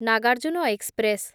Nagarjuna express